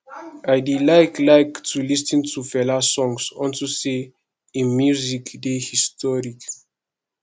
i dey like like to lis ten to fela songs unto say im music dey historic